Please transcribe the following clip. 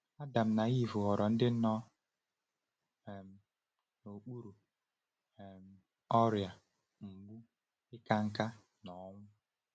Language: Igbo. Adam na Ivụ ghọrọ ndị nọ um n’okpuru um ọrịa, mgbu, ịka nká, na ọnwụ.